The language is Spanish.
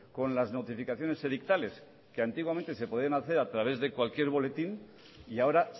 con las notificaciones edictales que antiguamente se podían hacer a través de cualquier boletín y ahora